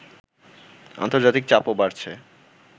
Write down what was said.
আন্তর্জাতিক চাপও বাড়ছে